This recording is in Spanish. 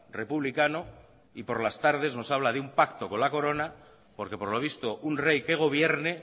republicano y por las tardes nos habla de un pacto con la corona porque por lo visto un rey que gobierne